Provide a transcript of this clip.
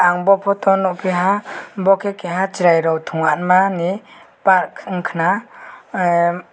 ang bo photo o nog piha bo ke keha cherai tongyang ma ni park wngka na em.